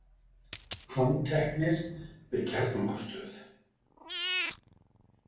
Handteknir við kjarnorkustöð